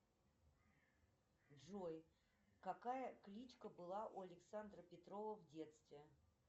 джой какая кличка была у александра петрова в детстве